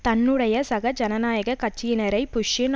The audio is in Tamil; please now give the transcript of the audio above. தன்னுடைய சக ஜனநாயக கட்சியினரை புஷ்ஷின்